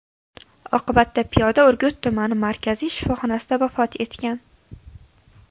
Oqibatda piyoda Urgut tumani markaziy shifoxonasida vafot etgan.